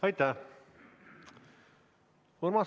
Aitäh!